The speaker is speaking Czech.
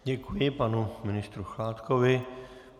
Děkuji panu ministru Chládkovi.